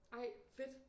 Ej fedt